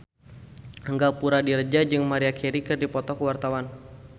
Angga Puradiredja jeung Maria Carey keur dipoto ku wartawan